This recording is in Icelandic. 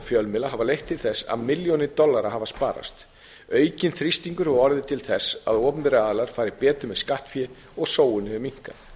fjölmiðla hafa leitt til þess að milljónir dollara hafa sparast aukinn þrýstingur hefur orðið til þess að opinberir aðilar fara betur með skattfé og sóun hefur minnkað